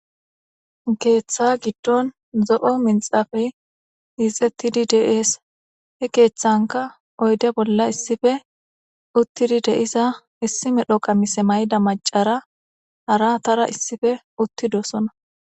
Keeththa giddon zo'o minxafey hixxettidi de'ees he keeththanka oydde bolla issippe uuttidii de'iza issi medho qamise mayida macara haratara issippe uuttidosonna